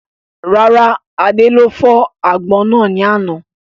Rárá, Adé ló fọ́ àgbọn ní àná